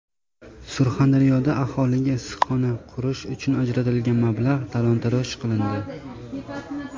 Surxondaryoda aholiga issiqxona qurish uchun ajratilgan mablag‘ talon-toroj qilindi.